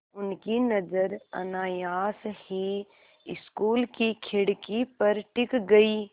उनकी नज़र अनायास ही स्कूल की खिड़की पर टिक गई